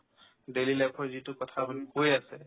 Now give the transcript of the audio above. daily life ৰ যিটো কথা আপুনি কৈ আছে